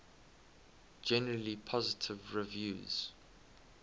generally positive reviews